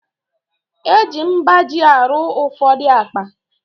Eji mgbaji arụ ụfọdụ akpa